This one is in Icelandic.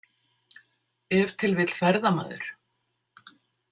Ef til vill ferðamaður.